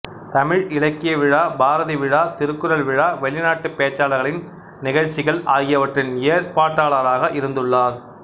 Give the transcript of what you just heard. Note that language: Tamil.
தமிழ் இலக்கிய விழா பாரதி விழா திருக்குறள் விழா வெளிநாட்டுப் பேச்சாளர்களின் நிகழ்ச்சிகள் ஆகியவற்றின் ஏற்பாட்டாளராக இருந்துள்ளார்